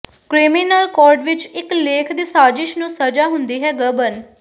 criminal code ਵਿਚ ਇਕ ਲੇਖ ਦੀ ਸਾਜ਼ਿਸ਼ ਨੂੰ ਸਜ਼ਾ ਹੁੰਦੀ ਹੈ ਗਬਨ